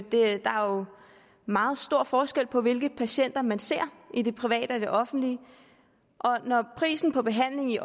meget stor forskel på hvilke patienter man ser i det private og i det offentlige og når prisen på behandling i